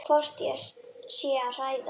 Hvort ég sé að hræða.